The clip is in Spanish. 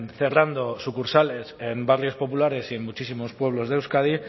cerrando sucursales en barrios populares y en muchísimos pueblos de euskadi